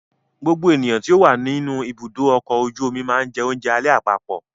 Gbogbo ènìyàn tó wà nínú ibùdó ọkọ̀ ojú omi máa jẹ oúnjẹ alẹ́ àpapọ̀.